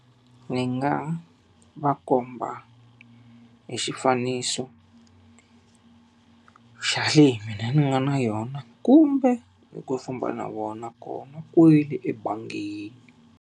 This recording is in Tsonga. Ni nga va komba hi xifaniso xa leyi mina ni nga na yona kumbe hi ku famba na vona kona kwale ebangini.